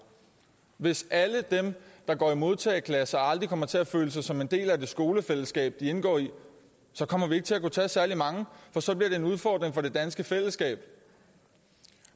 hvis alle dem der går i modtageklasser aldrig kommer til at føle sig som en del af det skolefællesskab de indgår i så kommer vi ikke til at kunne tage særlig mange for så bliver det en udfordring for det danske fællesskab